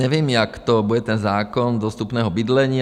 Nevím, jak to bude, ten zákon dostupného bydlení.